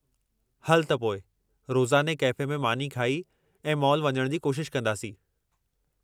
हलु त पोइ रोज़ाने कैफ़े में मानी खाई, ऐं मॉल वञणु जी कोशिश कंदासीं।